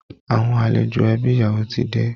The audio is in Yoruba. Àwọn àlejò ẹbi ìyàwó ti dé